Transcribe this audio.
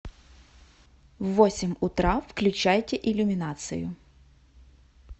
в восемь утра включайте иллюминацию